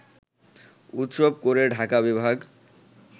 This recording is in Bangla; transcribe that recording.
উৎসব করে ঢাকা বিভাগ